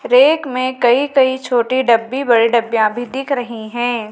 Rack में कई कई छोटी डब्बी बड़ी डब्बियां भी दिख रही हैं।